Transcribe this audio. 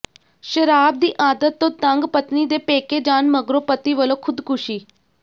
ਸ਼ਰਾਬ ਦੀ ਆਦਤ ਤੋਂ ਤੰਗ ਪਤਨੀ ਦੇ ਪੇਕੇ ਜਾਣ ਮਗਰੋਂ ਪਤੀ ਵਲੋਂ ਖ਼ੁਦਕੁਸ਼ੀ